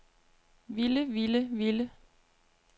ville ville ville